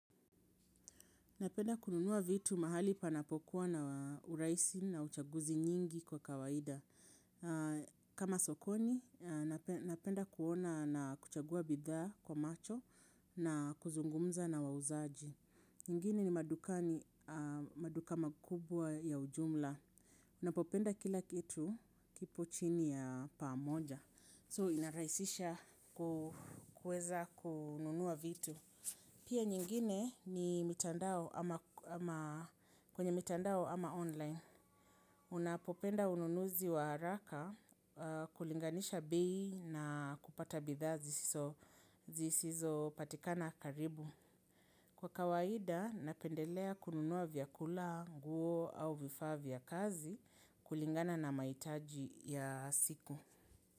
Napenda kununuwa vitu mahali panapokuwa na urahisi na uchaguzi nyingi kwa kawaida. Kama sokoni, napenda kuona na kuchagua bidhaa kwa macho na kuzungumza na wauzaji. Kwingine ni madukani, maduka makubwa ya ujumla. Napopenda kila kitu kipo chini ya pamoja. So inarahisisha kueza kununuwa vitu. Pia nyingine ni mitandao ama mitandao ama online. Unapopenda ununuzi wa haraka kulinganisha bei na kupata bidhaa zisizo patikana karibu. Kwa kawaida napendelea kununua vyakula, nguo au vifaa vya kazi kulingana na mahitaji ya siku.